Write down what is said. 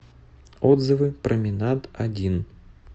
отзывы променад один